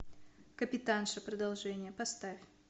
капитанша продолжение поставь